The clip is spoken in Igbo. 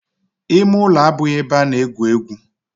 Ime ulo abughi ebe a na-egwu egwu.